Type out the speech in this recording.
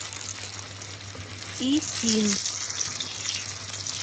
исин